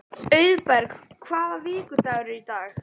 Auðberg, hvaða vikudagur er í dag?